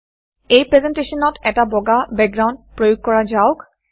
এই প্ৰেজেণ্টেশ্যনত এটা বগা বেকগ্ৰাউণ্ড প্ৰয়োগ কৰা যাওক